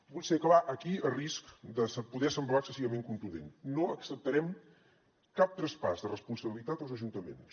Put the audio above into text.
vull ser clar aquí a risc de poder semblar excessivament contundent no acceptarem cap traspàs de responsabilitat als ajuntaments